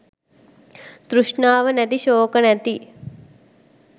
තෘෂ්ණාව නැති ශෝක නැති